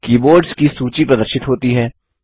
keyboards की सूची प्रदर्शित होती है